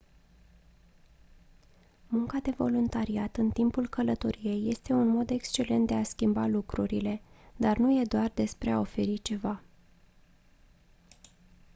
munca de voluntariat în timpul călătoriei este un mod excelent de a schimba lucrurile dar nu e doar despre a oferi ceva